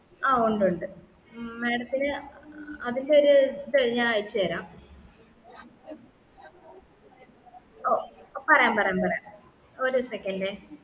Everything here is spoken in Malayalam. ആ ഉണ്ട് ഉണ്ട് madam ത്തിന് അതിൻ്റെ ഒരു ഇത് ഞാൻ അയച്ചേരാം ഓ പറയാം പറയാം ഒരു second ഏ